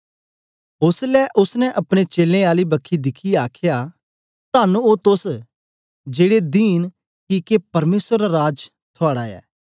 ओसलै ओसने अपने चेलें आली बखी दिखियै आखया तन्न ओ तोस जेड़े दींन किके परमेसर दा राज थुआड़ा ऐ